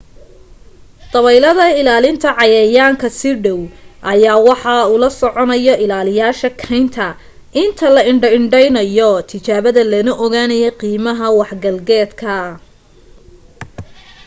dableyda ilaalinta cayayaanka si dhaw ayaa waxa ula soconayo ilaaliyayaasha keynta inta la indho indheynayo tijaabada lana ogaanayo qiimaha wax galgeeda